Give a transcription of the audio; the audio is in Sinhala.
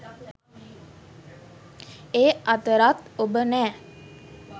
ඒ අතරත් ඔබ නෑ.